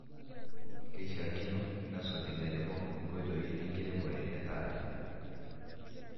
keishaakino nesuj ilairemok inkoitoi enkiremore e taata